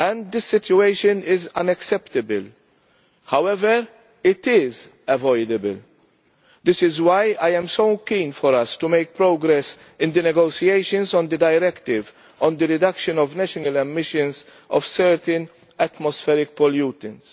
The situation is unacceptable. However, it is avoidable. This is why I am so keen for us to make progress in the negotiations on the Directive on the reduction of national emissions of certain atmospheric pollutants.